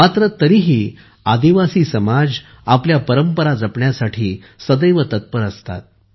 मात्र तरीही आदिवासी समाज आपल्या परंपरा जपण्यासाठी सदैव तत्पर असतात